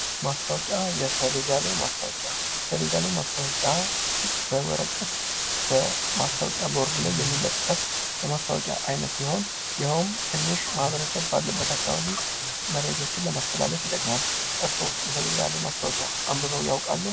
ማስታወቂያ፤ የሰሌዳ ላይ ማስታወቂያ፤ የሰሌዳ ላይ ማስታወቂያ በወረቀት የማስታወቂያ ቦርድ ላይ የሚለጠፍ የማስታወቂያ አይነት ሲሆን ይኀውም ትንሽ ማህበረሰብ ባለበት አካባቢ መረጃዎችን ለማስተላለፍ ይጠቅማል። እርሶ የሰሌዳ ላይ ማስታወቂያ አንበበው ያውቃሉ?